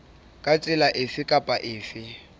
ka tsela efe kapa efe